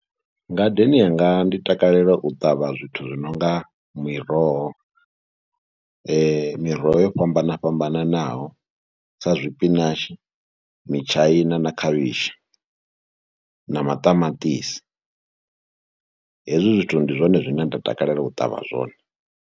Ngadeni yanga ndi takalela u ṱavha zwithu zwi no nga miroho, miroho yo fhambana fhambananaho sa zwipinatshi, mitshaina na khavhishi na maṱamaṱisi. Hezwi zwithu, ndi zwone zwine nda takalela u ṱavha zwone.